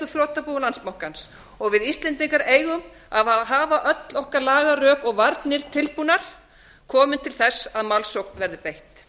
þrotabúi landsbankans og við íslendingar eigum að hafa öll okkar lagarök og varnir tilbúnar komi til þess að málsókn verði beitt